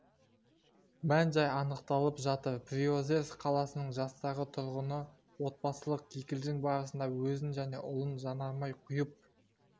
мән-жайы анықталып жатыр приозерск қаласының жастағы тұрғыны отбасылық кикілжің барысында өзін және ұлын жанармай құйып